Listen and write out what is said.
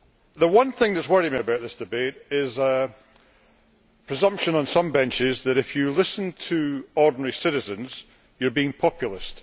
The one thing that is worrying me about this debate is the presumption on some benches that if you listen to ordinary citizens, you are being populist.